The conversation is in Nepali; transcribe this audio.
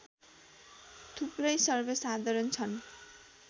थुप्रै सर्वसाधारण छन्